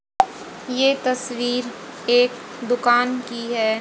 ये तस्वीर एक दुकान की है।